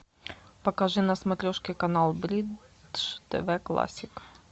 покажи на смотрешке канал бридж тв классик